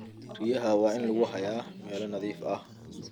Riyaha waa in lagu hayaa meelo nadiif ah.